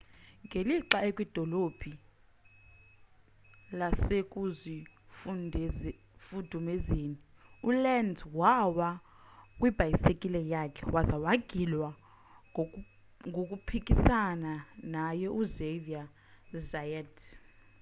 ngelixa ekwidolo lasekuzifudumezeni ulenz wawa kwibhayisikile yakhe waza wagilwa ngkhuphisana naye uxavier zayat